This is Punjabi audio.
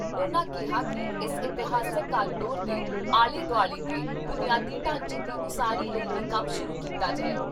ਉਨ੍ਹਾਂ ਕਿਹਾ ਕਿ ਇਸ ਇਤਿਹਾਸਕ ਕਾਰੋਡੋਰ ਦੇ ਆਲੇ ਦੁਆਲੇ ਦੇ ਬੁਨਿਆਦੀ ਢਾਂਚੇ ਦੀ ਉਸਾਰੀ ਲਈ ਵੀ ਕੰਮ ਸ਼ੁਰੂ ਕੀਤਾ ਜਾਏ।